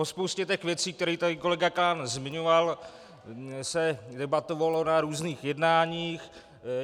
O spoustě těch věcí, které tady kolega Klán zmiňoval, se debatovalo na různých jednáních.